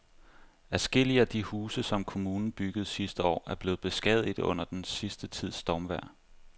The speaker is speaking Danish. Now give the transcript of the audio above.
Adskillige af de huse, som kommunen byggede sidste år, er blevet beskadiget under den sidste tids stormvejr.